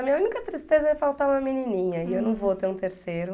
A minha única tristeza é faltar uma menininha e eu não vou ter um terceiro.